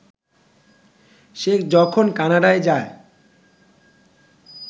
সে যখন কানাডা যায়